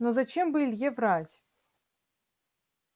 но зачем бы илье врать